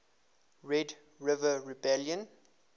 red river rebellion